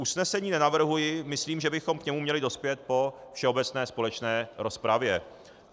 Usnesení nenavrhuji, myslím, že bychom k němu měli dospět po všeobecné společné rozpravě.